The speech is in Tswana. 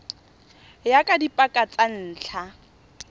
ya ka dipaka tsa ntlha